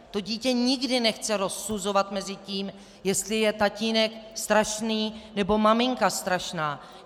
To dítě nikdy nechce rozsuzovat mezi tím, jestli je tatínek strašný, nebo maminka strašná.